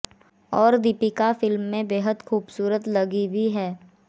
और दीपिका फिल्म में बेहद खूबसूरत लगी भी हैं